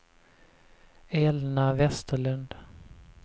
Elna Westerlund